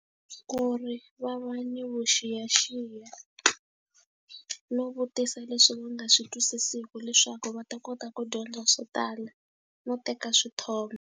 Ku ri va va ni vuxiyaxiya, no vutisa leswi va nga swi twisisiku leswaku va ta kota ku dyondza swo tala no teka swithombe.